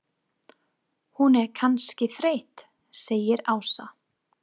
Hún er kannski þreytt segir Ása.